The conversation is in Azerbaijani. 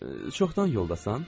Çoxdan yoldasan?